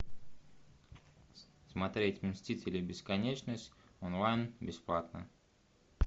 смотреть мстители бесконечность онлайн бесплатно